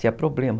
Tinha problema.